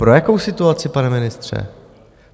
Pro jakou situaci, pane ministře?